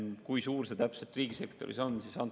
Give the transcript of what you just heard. Kui suur see täpselt riigisektoris on?